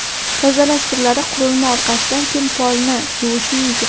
Tozalash turlari Qurilma orqasidan kim polni yuvishi mumkin?